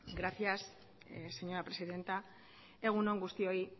gracias señora presidenta egun on guztioi